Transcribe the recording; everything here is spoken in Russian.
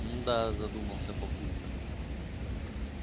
м-да задумался папулька